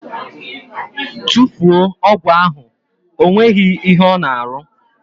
Tufuo ọgwụ ahụ! Ọ nweghị ihe ọ na arụ!